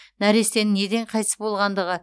нәрестенің неден қайтыс болғандығы